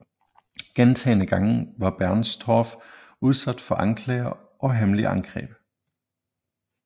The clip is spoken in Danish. Gentagne gange var Bernstorff udsat for anklager og hemmelige angreb